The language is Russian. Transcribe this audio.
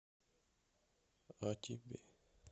а тебе